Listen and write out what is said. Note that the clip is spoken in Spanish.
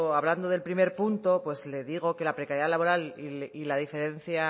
hablando del primer punto pues le digo que la precariedad laboral y la diferencia